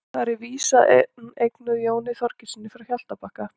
þar er vísan eignuð jóni þorgeirssyni frá hjaltabakka